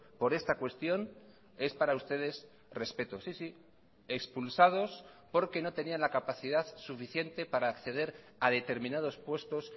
por esta cuestión es para ustedes respeto sí sí expulsados porque no tenían la capacidad suficiente para acceder a determinados puestos